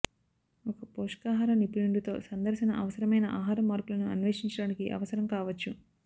ఒక పోషకాహార నిపుణుడితో సందర్శన అవసరమైన ఆహారం మార్పులను అన్వేషించడానికి అవసరం కావచ్చు